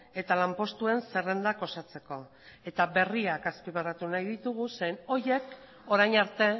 eta lanpostuen zerrendak osatzeko eta berriak azpimarratu nahi ditugu zeren eta horiek orain arte